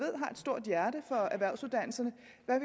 stort hjerte for erhvervsuddannelserne